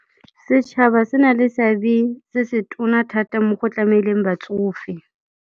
Setšhaba se na le seabe se se tona thata mo go tlameleng batsofe.